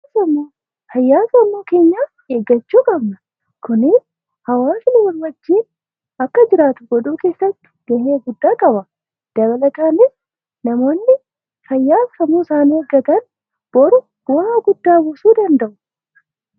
Fayyaa sammuu keenyaa eeggachuu qabna. Kunis hawwaasni walii wajjiin akka jiraatu godhuu keessatti ga'ee guddaa qaba. Dabalataaniis namoonni fayyaa sammuu isaanii eeggatan boruu bu'aa guddaa buusuu danda'u.